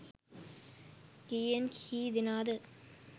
කීයෙන් කී දෙනාද.